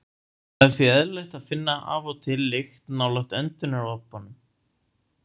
Það er því eðlilegt að finna af og til lykt nálægt öndunaropunum.